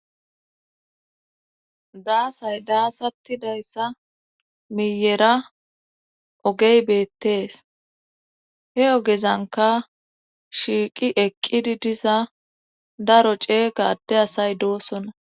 daasay daasatti dayssa miyera ogey beettees he ogezanka shiiqi eqqidi diza daro ceegade asay doosona